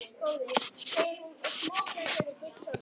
Rödd Berthu skalf þegar hún sá bróður sinn.